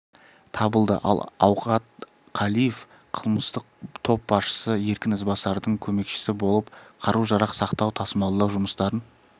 табылды ал аухат қалиев қылмыстық боп басшысы еркін ізбасардың көмекшісі болып қару-жарақ сақтау тасымалдау жұмыстарын